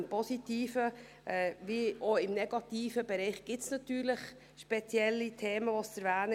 Im positiven wie auch im negativen Bereich gibt es natürlich spezielle Themen zu erwähnen;